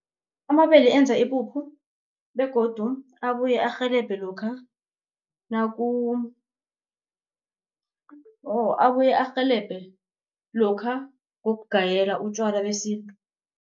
Amabele enza ipuphu begodu abuye arhelebhe lokha, woh abuye arhelebhe lokha ngokugayela utjwala besintu.